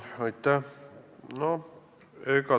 Aitäh!